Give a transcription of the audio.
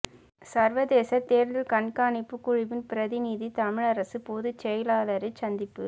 சர்வதேச தேர்தல் கண்காணிப்புக் குழுவின் பிரதிநிதி தமிழரசுப் பொதுச் செயலாளரைச் சந்திப்பு